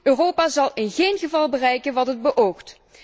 Europa zal in geen geval bereiken wat het beoogt.